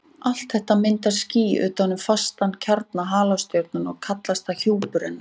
Allt þetta myndar ský utan um fastan kjarna halastjörnunnar og kallast það hjúpur hennar.